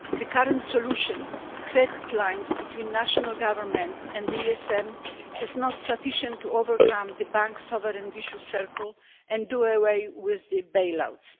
The current solution, credit lines between national governments and the ESM, is not sufficient to overcome the banks' sovereign vicious circle and do away with the bailouts.